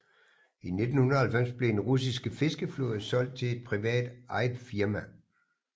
I 1990 blev den russiske fiskeflåde solgt til et privat eget firma